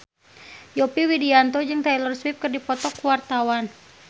Yovie Widianto jeung Taylor Swift keur dipoto ku wartawan